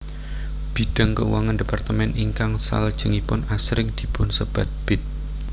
Bidang keuangan departemen ingkang salajengipun asring dipunsebat Bid